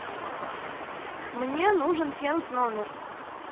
мне нужен фен в номер